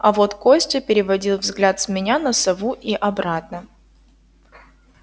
а вот костя переводил взгляд с меня на сову и обратно